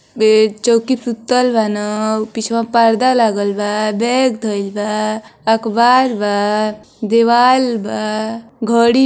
बे चौकी पे सुतल बाना उ पिछवा पर्दा लागल बा बैग धइल बा अख़बार बा दीवाल बा घड़ी --